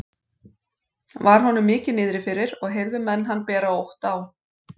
Var honum mikið niðri fyrir og heyrðu menn hann bera ótt á.